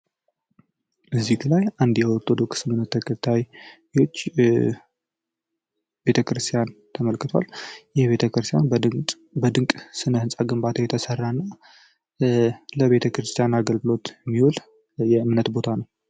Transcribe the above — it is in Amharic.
በዚህ ምስል አንድ የኦርቶዶክስ እምነት ተከታይ ቤተክርስቲያን ተመልክቷል ይህ ቤተክርስቲያን በድንጋይ በድንቅ ጥበብ የተሰራ ነው። ለቤተ ክርስቲያን አገልግሎት የሚውል የእምነት ቦታ ነው።